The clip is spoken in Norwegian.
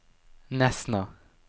Nesna